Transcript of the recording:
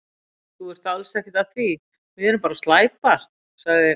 Þú ert alls ekkert að því, við erum bara að slæpast, sagði